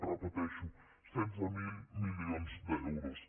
repeteixo setze mil milions d’euros